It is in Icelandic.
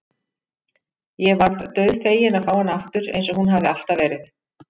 Ég varð dauðfegin að fá hana aftur eins og hún hafði alltaf verið.